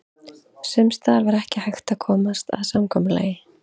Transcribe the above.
Sums staðar var ekki hægt að komast að samkomulagi.